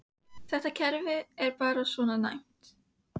Þetta kerfi er bara svona næmt.